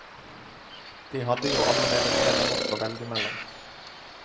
De hadde jo allerede mer enn nok å velge mellom.